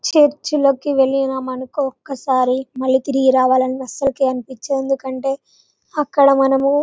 చరుచుల కి వెళ్లిన మనకు ఒక సారి మల్లి తిరిగి రావాలి అని అసలికే అనిపించదు ఎందుకంటె అక్కడ మనము --